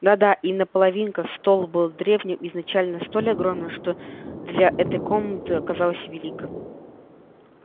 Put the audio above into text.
да-да именно половинка стол был древним и изначально столь огромным что для этой комнаты оказался велик